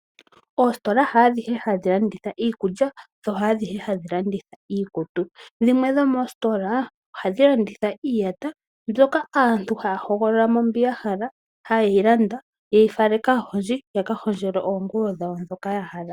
Oositola ha adhihe hadhi landitha iikulya, dho ha dhihe hadhi landitha iikutu, dhimwe dho moositola ohadhi landitha iiyata mbyoka aantu haya hogolola mo mbyoka ya hala haye yi landa, haye yi fala kaahondji yaka hondjelwe oonguwo dhawo dhoka ya hala.